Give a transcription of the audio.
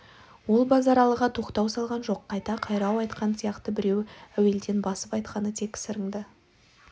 ол базаралыға тоқтау салған жоқ қайта қайрау айтқан сияқты бірақ әуелден басып айтқаны тек сырыңды